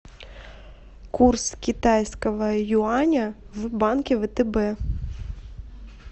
курс китайского юаня в банке втб